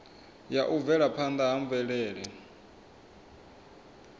ya u bvelaphanda ha mvelele